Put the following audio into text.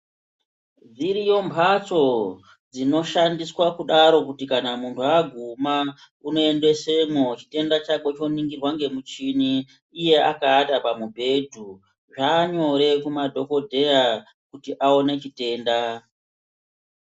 Dziriyo mphatso dzinoshandiswa kudaro kuti kana muntu aguma, unoendesemwo chitenda chakwe, choningirwa ngemuchini, iye akawata pamubhedhu. Zvaanyore kumadhokodheya kuti aone chitenda.